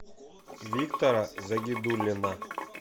виктора загидуллина